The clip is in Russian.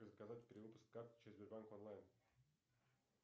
заказать перевыпуск карты через сбербанк онлайн